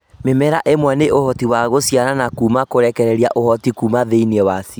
Mĩmera ĩmwe nĩ ũhoti wa gũciarana Kuma kũrekereria ũhoti Kuma thĩinĩ wacio